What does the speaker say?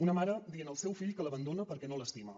una mare dient al seu fill que l’abandona perquè no l’estima